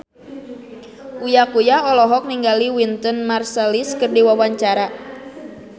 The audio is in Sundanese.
Uya Kuya olohok ningali Wynton Marsalis keur diwawancara